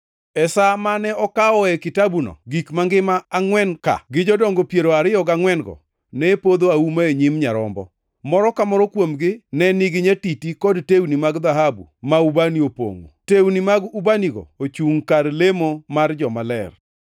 E sa mane okawoe kitabuno gik mangima angʼwen ka gi Jodongo piero ariyo gangʼwen-go ne opodho auma e nyim Nyarombo. Moro ka moro kuomgi ne nigi nyatiti kod tewni mag dhahabu ma ubani opongʼo. Tewni mag ubanigo ochungʼ kar lemo mar jomaler.